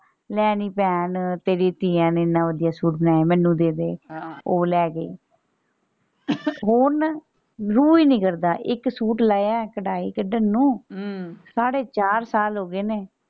ਲੈ ਨੀ ਭੈਣ ਤੇਰੀਆਂ ਧੀਆਂ ਨੇ ਇੰਨਾ ਵਧੀਆ ਸੂਟ ਬਣਾਇਆ ਮੈਨੂੰ ਦੇ ਦੇ ਹਾਂ ਉਹ ਲੈ ਗਈ ਹੁਣ ਰੂਹ ਈ ਨਹੀਂ ਕਰਦਾ ਇੱਕ ਸੂਟ ਲਾਇਆ ਕਢਾਈ ਕੱਢਣ ਨੂੰ ਹਮ ਸਾਢੇ ਚਾਰ ਸਾਲ ਹੋ ਗਏ ਨੇ।